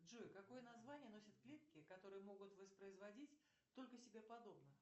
джой какое название носят клетки которые могут воспроизводить только себе подобных